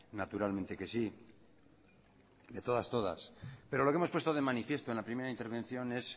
naturalmente que sí de todas todas pero lo que hemos puesto de manifiesto en la primera intervención es